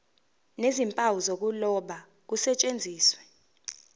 nezimpawu zokuloba kusetshenziswe